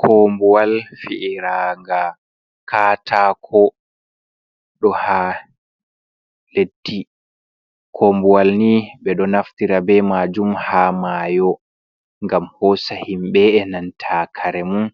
Kombuwal fi’iraga katako ɗo ha leddi, kombuwal ni ɓe ɗo naftira be majum ha mayo gam hosa himɓɓe e nanta kare mun